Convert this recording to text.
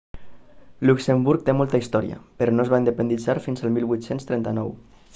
luxemburg té molta història però no es va independitzar fins al 1839